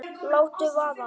Láttu vaða